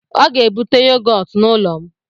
Ọ ga-ebute yogọt n'ụlọ m